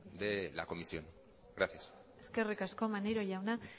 de la comisión gracias eskerrik asko maneiro jauna